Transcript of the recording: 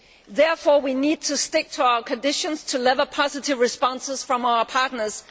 Therefore we need to stick to our conditions to lever positive responses from our partners.